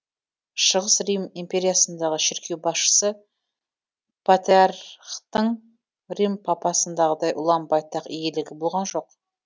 шығыс рим империясындағы шіркеу басшысы патриархтың рим папасындағыдай ұлан байтақ иелігі болған жоқ